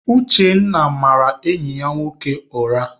Uchenna mara enyi ya nwoke ụra.